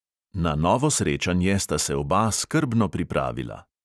Na novo srečanje sta se oba skrbno pripravila.